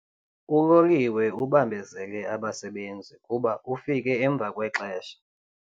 Uloliwe ubambezele abasebenzi kuba ufike emva kwexesha.